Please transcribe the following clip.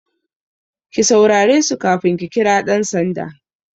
Ki saurare su kafin ki kira ɗan sanda!